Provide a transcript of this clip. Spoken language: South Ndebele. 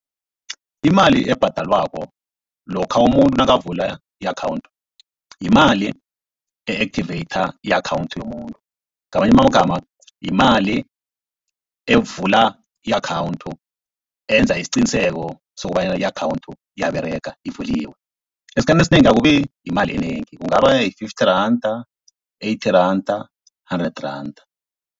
Imali ebhadelwako lokha umuntu nakavula i-akhawunthu yimali e-activator i-akhawunthu yomuntu. Ngamanye amagama yimali evula i-akhawunthu, eyenza isiqiniseko sokobanyana i-akhawunthu iyaberega ivuliwe. Esikhathini esinengi akubi yimali enengi, kungaba yi-fifty randa, eighty randa, hundred randa.